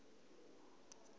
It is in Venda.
bulugwane